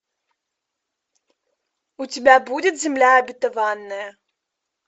у тебя будет земля обетованная